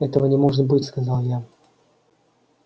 этого не может быть сказал я